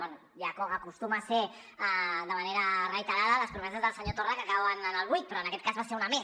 bé ja acostuma a ser de manera reiterada les promeses del senyor torra que cauen en el buit però en aquest cas va ser una més